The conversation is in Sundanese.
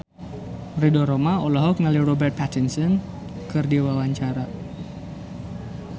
Ridho Roma olohok ningali Robert Pattinson keur diwawancara